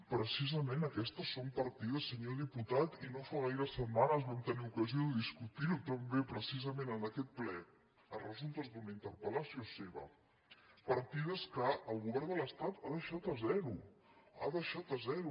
precisament aquestes són parti·des senyor diputat i no fa gaires setmanes vam tenir ocasió de discutir·ho també precisament en aquest ple a resultes d’una interpel·lació seva partides que el go·vern de l’estat ha deixat a zero ha deixat a zero